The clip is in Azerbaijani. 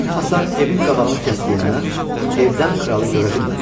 Hündür hasar evin qabağını kəsdiyindən evdən kralı görə bilmədilər.